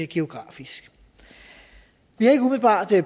geografisk vi har ikke umiddelbart